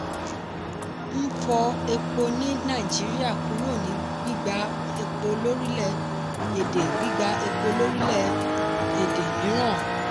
n fọ epo ní nàìjíríà kúrò ní gbígba epo lórílẹ̀-èdè gbígba epo lórílẹ̀-èdè míràn.